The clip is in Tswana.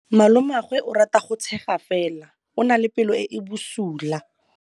Malomagwe o rata go tshega fela o na le pelo e e bosula.